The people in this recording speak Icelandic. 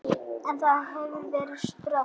En það hefði verið skrök.